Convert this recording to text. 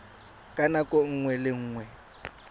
ka nako nngwe le nngwe